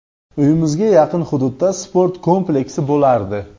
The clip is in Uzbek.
Uyimizga yaqin hududda sport kompleksi bo‘lardi.